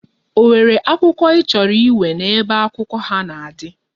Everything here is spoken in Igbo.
O nwere akwukwo ichoro iwere na ebe akwụkwọ ha na adi?